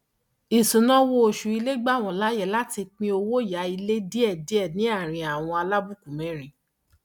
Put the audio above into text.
isunawo oṣù ilé gba wọn láyè láti pín owó yá ilé díẹdíẹ ní àárín àwọn alábùkù mẹrin